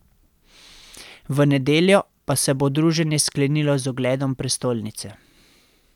V nedeljo pa se bo druženje sklenilo z ogledom prestolnice.